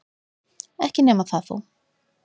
Ekki nema það þó!